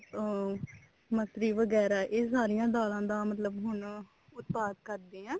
ਅਮ ਮਸਰੀ ਵਗੈਰਾ ਇਹ ਸਾਰੀਆਂ ਦਾਲਾਂ ਦਾ ਮਤਲਬ ਹੁਣ ਉਤਪਾਦ ਕਰਦੇ ਆ